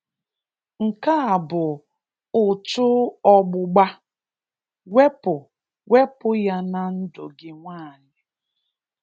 Nke a bụ ụ̀chụ̀ ọgbụgba! Wepụ Wepụ ya na ndụ gị nwaanyị!